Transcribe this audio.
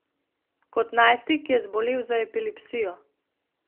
Kot najstnik je zbolel za epilepsijo.